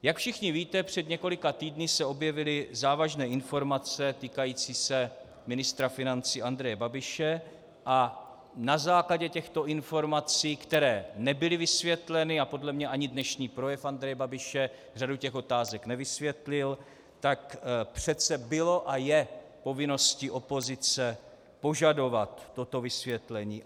Jak všichni víte, před několika týdny se objevily závažné informace týkající se ministra financí Andreje Babiše a na základě těchto informací, které nebyly vysvětleny, a podle mě ani dnešní projev Andreje Babiše řadu těch otázek nevysvětlil, tak přece bylo a je povinností opozice požadovat toto vysvětlení.